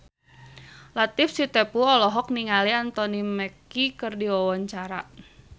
Latief Sitepu olohok ningali Anthony Mackie keur diwawancara